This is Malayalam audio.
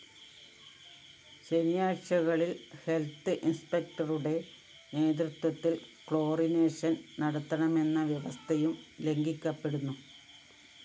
ശനിയാഴ്ചകളില്‍ ഹെൽത്ത്‌ ഇന്‍സ്‌പെക്ടറുടെ നേതൃത്വത്തില്‍ ക്ലോറിനേഷൻ നടത്തണമെന്ന വ്യവസ്ഥയും ലംഘിക്കപ്പെടുന്നു